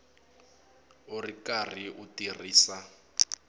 u ri karhi u tirhisa